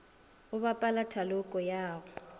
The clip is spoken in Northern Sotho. go bapala thaloko ya go